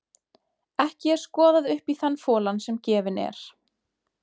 Ekki er skoðað upp í þann folann sem gefinn er.